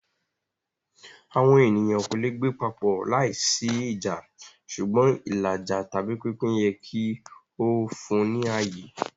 Awọn eniyan ko le gbe papọ laisi ija ṣugbọn ilaja/pinpin yẹ ki o fun ni aye.